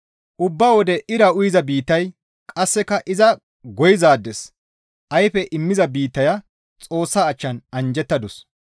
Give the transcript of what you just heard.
Ubba wode ira uyiza biittaya qasseka iza goyizaades ayfe immiza biittaya Xoossa achchan anjjettadus.